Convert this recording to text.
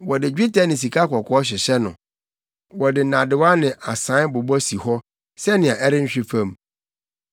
Wɔde dwetɛ ne sikakɔkɔɔ hyehyɛ no; wɔde nnadewa ne asae bobɔ si hɔ sɛnea ɛrenhwe fam.